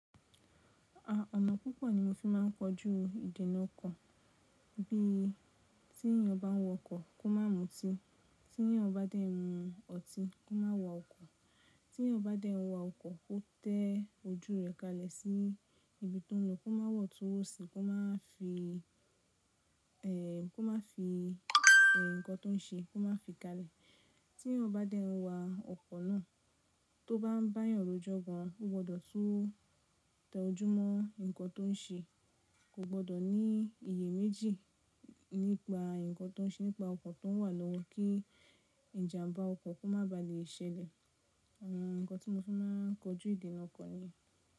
À, ọ̀nà púpọ̀ ni mo fi máa ń kojú ìdènà ọkọ̀, bí i tí èèyàn bá ń wọ ọkọ̀ kó má mú ọtí, tí èèyàn bá dé ń mu ọtí kó má wọ ọkọ̀, tí èèyàn bá dé ń wọ ọkọ̀ ó tẹ ojú rẹ̀ kalẹ̀ sí ibi tó ń lọ kó má wọ̀ tó wòsì kó má fi, eh, kó má fi, eh, nǹkan tó ń ṣe kó má fi kalẹ̀. Tí èèyàn bá dé ń wa ọkọ̀ náà tó bá ń bá èèyàn rò jọgan ó gbọdọ̀ tún tẹ ojú mọ́ nǹkan tó ń ṣe, kò gbọdọ̀ ní iye méjì nípa nǹkan tó ń ṣe nípa ọkọ̀ tó ń wà lọ́wọ́ kí ìjàmbá ọkọ̀ kó má ba à lè ṣẹlẹ̀. Àwọn nǹkan tí mo fi máa ń kojú ìdènà ọkọ̀ ni.